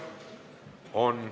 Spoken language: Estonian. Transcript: Siiski on.